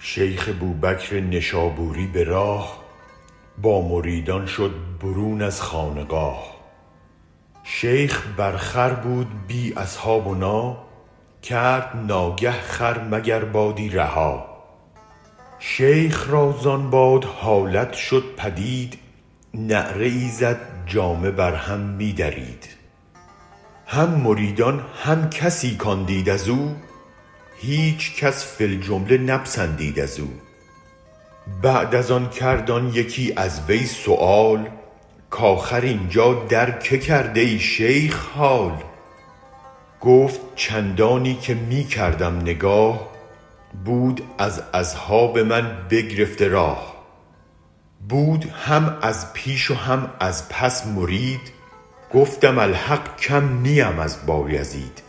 شیخ بوبکر نشابوری به راه با مریدان شد برون از خانقاه شیخ بر خر بود بی اصحابنا کرد ناگه خر مگر بادی رها شیخ را زان باد حالت شد پدید نعره ای زد جامه بر هم می درید هم مریدان هم کسی کان دید ازو هیچ کس فی الجمله نپسندید ازو بعد از آن کرد آن یکی از وی سؤال کاخر اینجا در که کردای شیخ حال گفت چندانی که می کردم نگاه بود از اصحاب من بگرفته راه بود هم از پیش و هم از پس مرید گفتم الحق کم نیم از بایزید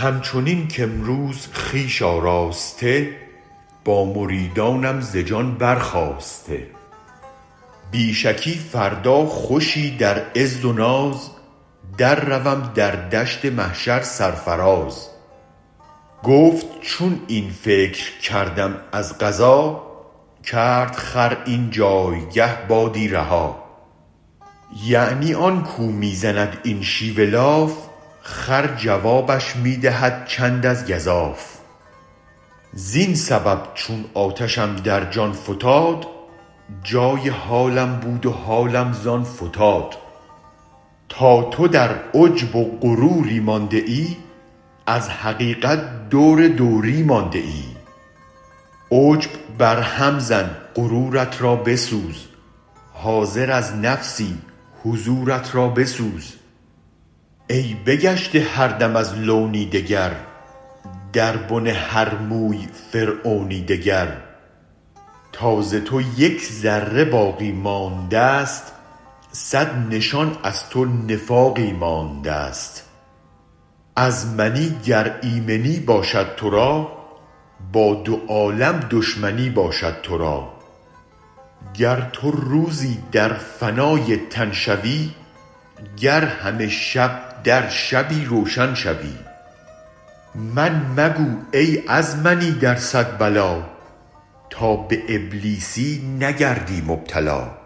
هم چنین که امروز خویش آراسته با مریدانم ز جان برخاسته بی شکی فردا خوشی در عز و ناز درروم در دشت محشر سرفراز گفت چون این فکر کردم از قضا کرد خر این جایگه بادی رها یعنی آن کو می زند این شیوه لاف خر جوابش می دهد چند از گزاف زین سبب چون آتشم در جان فتاد جای حالم بود و حالم زان فتاد تا تو در عجب و غروری مانده ای از حقیقت دور دوری مانده ای عجب بر هم زن غرورت رابسوز حاضر از نفسی حضورت را بسوز ای بگشته هر دم از لونی دگر در بن هر موی فرعونی دگر تا ز تو یک ذره باقی ماندست صد نشان از تو نفاقی ماندست از منی گر ایمنی باشد ترا با دو عالم دشمنی باشد ترا گر تو روزی در فنای تن شوی گر همه شب در شبی روشن شوی من مگو ای از منی در صد بلا تا به ابلیسی نگردی مبتلا